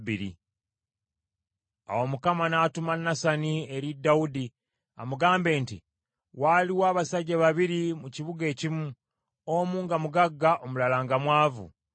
Awo Mukama n’atuma Nasani eri Dawudi amugambe nti, “Waaliwo abasajja babiri mu kibuga ekimu, omu nga mugagga, omulala nga mwavu.